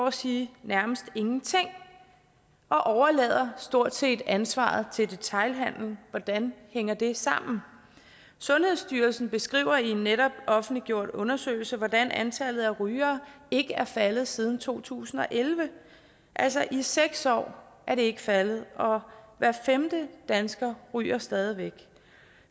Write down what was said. at sige nærmest ingenting og og stort set overlader ansvaret til detailhandelen hvordan hænger det sammen sundhedsstyrelsen beskriver i en netop offentliggjort undersøgelse hvordan antallet af rygere ikke er faldet siden to tusind og elleve altså i seks år er det ikke faldet og hver femte dansker ryger stadig væk